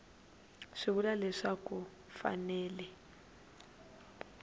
swi vula leswaku ku fanele